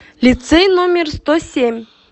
лицей номер сто семь